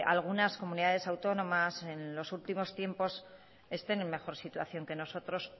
algunas comunidades autónomas en los últimos tiempos estén en mejor situación que nosotros